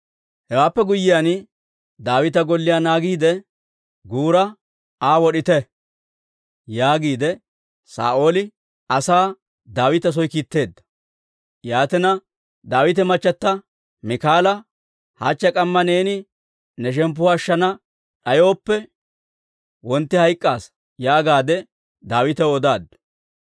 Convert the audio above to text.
Hewaappe guyyiyaan, «Daawita golliyaa naagiide, guura Aa wod'ite» yaagiide Saa'ooli asaa Daawita soo kiitteedda. Yaatina, Daawita machata Miikaala, «Hachche k'amma neeni ne shemppuwaa ashshana d'ayooppe, wontti hayk'k'aasa» yaagaadde Daawitaw odaaddu.